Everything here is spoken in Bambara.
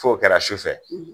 Fo kɛra su fɛ